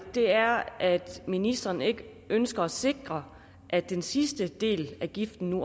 er at ministeren ikke ønsker at sikre at den sidste del af giften